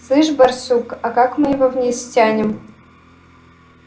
слышишь барсук а как мы его вниз стянем